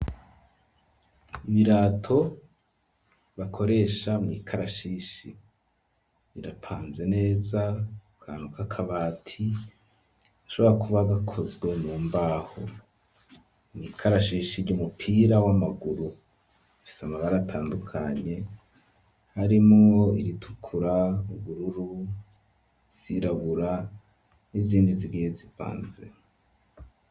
Ibirato bakoresha mwikarashishi birapanze neza akantu ka kabati gashobora kuba gakozwe mu mbaho mwikarashishi ry'umupira w'amaguru gafise amabara atandukanye harimwo iritukura, ubururu, izirabura n'izindi zigiye zipanze.